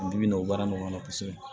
N bi bi in n'o baara nunnu kɔnɔ kosɛbɛ